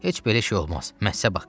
Heç belə şey olmaz, məsləhət haqqı.